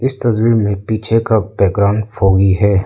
इस तस्वीर में पीछे का बैकग्राउंड फॉगी है।